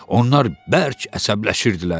Onlar bərk əsəbləşirdilər.